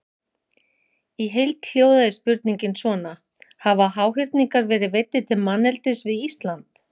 Í heild hljóðaði spurningin svona: Hafa háhyrningar verið veiddir til manneldis við Ísland?